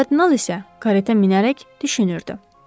Kardinal isə karetə minərək düşünürdü.